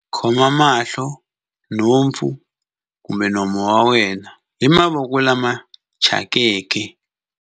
khoma mahlo, nhompfu kumbe nomo wa wena hi mavoko lama thyakeke.